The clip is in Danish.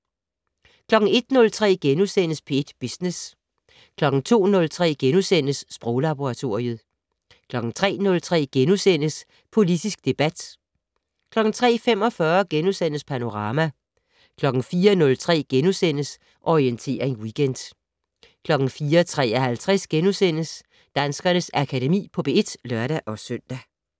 01:03: P1 Business * 02:03: Sproglaboratoriet * 03:03: Politisk debat * 03:45: Panorama * 04:03: Orientering Weekend * 04:53: Danskernes Akademi på P1 *(lør-søn)